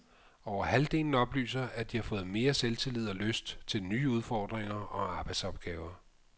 Over halvdelen oplyser, at de har fået mere selvtillid og lyst til nye udfordringer og arbejdsopgaver.